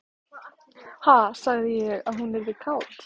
Ha, sagði ég að hún yrði kát?